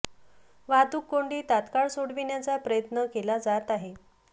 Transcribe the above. वाहतूक कोंडी तत्काळ सोडविण्याचा प्रयत्न केला जात आहे